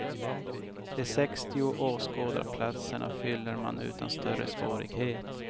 De sextio åskådarplatserna fyller man utan större svårighet.